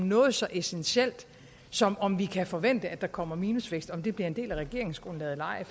noget så essentielt som om vi kan forvente at der kommer minusvækst altså om det bliver en del af regeringsgrundlaget eller ej